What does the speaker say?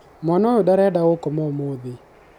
mwana ũyũ ndareda gũkoma ũmũthĩ